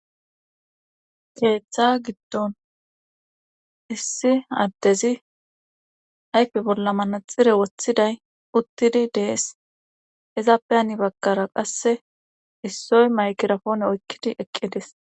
keeththa giddon issi addezi ayfe bolla manaxire woththiday uttidi dees ezappe ani bakkara qasse issoy maykirapoone oykkidi eqqidis.